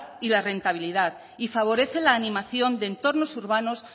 y la rentabilidad y favorece la animación de entornos urbanos